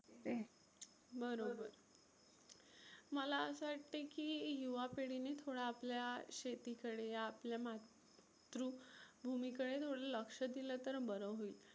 बरोबर मला असं वाटतं की युवा पिढीने थोडा आपल्या शेतीकडे आपल्या मातृ भुमीकडे थोड लक्ष दिलं तर बरं होईल.